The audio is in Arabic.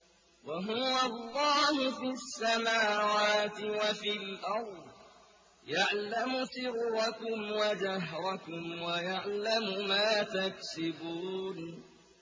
وَهُوَ اللَّهُ فِي السَّمَاوَاتِ وَفِي الْأَرْضِ ۖ يَعْلَمُ سِرَّكُمْ وَجَهْرَكُمْ وَيَعْلَمُ مَا تَكْسِبُونَ